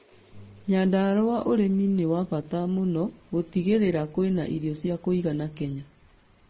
Nyandarua ũremi nĩ wa bata mũno gũtigĩrĩra kwena irio ciakĩigana Kenya